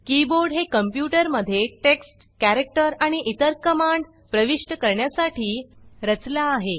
keyboard हे computer मध्ये text character आणि इतर कमांड प्रविष्ट करण्यासाठी रचला आहे